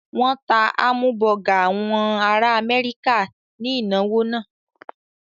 Wọ́n ta hámúbọgà àwọn ará Amẹ́ríkà ní ìnáwó náà.